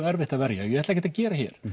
erfitt er að verja og ég ætla ekki að gera hér